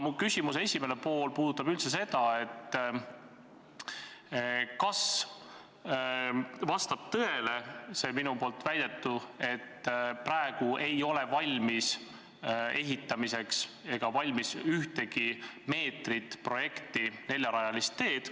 Mu küsimuse esimene pool ongi, kas vastab tõele see minu väide, et praegu ei ole projekteeritud ega valmis ehitamiseks ühtegi meetrit neljarajalist teed.